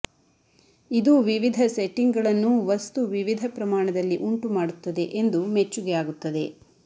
ಇದು ವಿವಿಧ ಸೆಟ್ಟಿಂಗ್ಗಳನ್ನು ವಸ್ತು ವಿವಿಧ ಪ್ರಮಾಣದಲ್ಲಿ ಉಂಟುಮಾಡುತ್ತದೆ ಎಂದು ಮೆಚ್ಚುಗೆ ಆಗುತ್ತದೆ